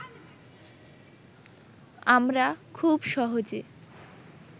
আমরা খুব সহজে